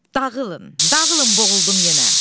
Dağılın, dağılın boğuldum yenə.